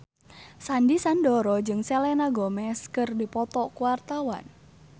Sandy Sandoro jeung Selena Gomez keur dipoto ku wartawan